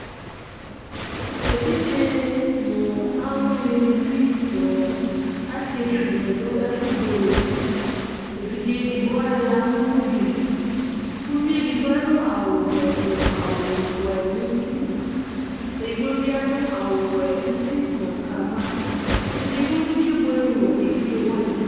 evidze nu aluwini lu vi nu asietsu di ni du ɛfu buele evidze edigbo alila nu ugli uvi edigbo adu awu vɛ nu awu wɛ n'uti edigbo bi adu awu wɛ n'uti nu ava edigbo bi k'ebuele nu evidze wani